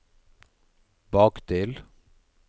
bakdel